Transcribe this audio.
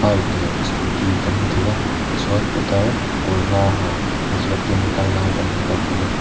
bike leh scooty kan hmu thei a tichuan putar kaw var ha nihliap keng a kal lai kan hmu bawk ani.